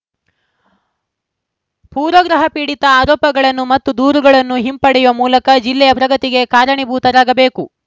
ಪೂರ್ವಾಗ್ರಹ ಪೀಡಿತ ಆರೋಪಗಳನ್ನು ಮತ್ತು ದೂರುಗಳನ್ನು ಹಿಂಪಡೆಯುವ ಮೂಲಕ ಜಿಲ್ಲೆಯ ಪ್ರಗತಿಗೆ ಕಾರಣೀಭೂತರಾಗಬೇಕು